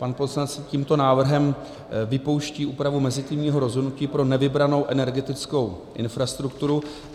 Pan poslanec tímto návrhem vypouští úpravu mezitímního rozhodnutí pro nevybranou energetickou infrastrukturu.